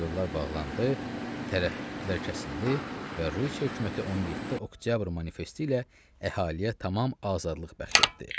Yollar bağlandı, tərəddüdlər kəsildi və Rusiya hökuməti 17 oktyabr manifesti ilə əhaliyə tamam azadlıq bəxş etdi.